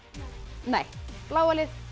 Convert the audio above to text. nei bláa lið